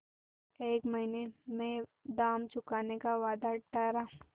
एक महीने में दाम चुकाने का वादा ठहरा